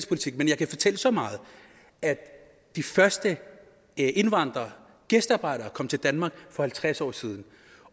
politik men jeg kan fortælle så meget at de første indvandrere gæstearbejderne kom til danmark for halvtreds år siden